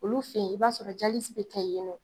Olu fen ye i b'a sɔrɔ a be kɛ yen nɔ